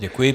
Děkuji.